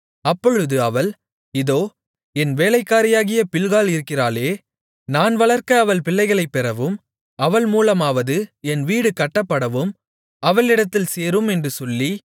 அப்பொழுது அவள் இதோ என் வேலைக்காரியாகிய பில்காள் இருக்கிறாளே நான் வளர்க்க அவள் பிள்ளைகளைப் பெறவும் அவள் மூலமாவது என் வீடு கட்டப்படவும் அவளிடத்தில் சேரும் என்று சொல்லி